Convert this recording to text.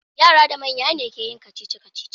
Yara da manya ne ke yin kacici-kacici.